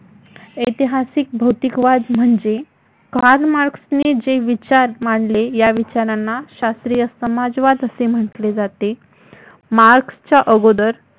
ऐतिहासिक भौतिकवद म्हणजे, कार्ल मार्क्स ने जे विचार मांडले या विचारांना शास्त्रीय समाजवाद असे म्हटले जाते. मार्क्सच्या अगोदर